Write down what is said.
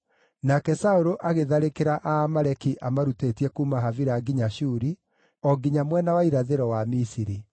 Nake Saũlũ agĩtharĩkĩra Aamaleki amarutĩtie kuuma Havila nginya Shuri, o nginya mwena wa irathĩro wa Misiri.